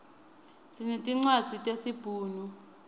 sinetincwadzi tesi bhunu